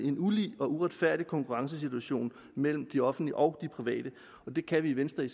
en ulige og uretfærdig konkurrencesituation mellem det offentlige og de private det kan vi i venstre i